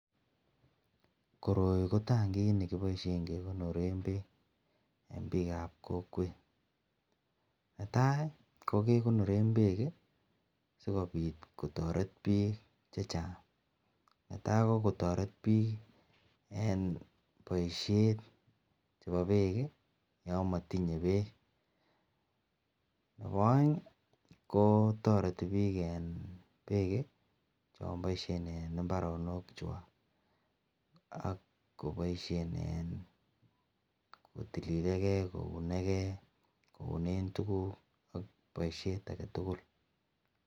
Koroi ko tangit nekibaishen kekonoren bek en bik ab kokwet ,netai kokegonoren bek sikobit kotaret bik chechang ,netai kikotaret bik en baishet chebo bek yamatinye bek Nebo aeng toreti bik en bek cheboishen en ibaronik chwak AK kobaishen en koune gei ,kotililegei AK baishet aketugul